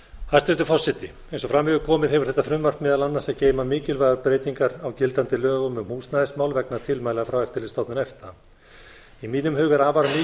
hæstvirtur forseti eins og fram hefur komið hefur þetta frumvarp meðal annars að geyma mikilvægar breytinga á gildandi lögum um húsnæðismál vegna tilmæla frá eftirlitsstofnun efta í mínum huga er afar mikilvægt að